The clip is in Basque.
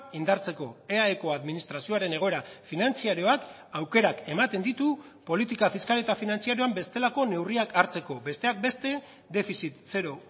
indartzeko eaeko administrazioaren egoera finantzarioak aukerak ematen ditu politika fiskal eta finantzarioan bestelako neurriak hartzeko besteak beste defizit zero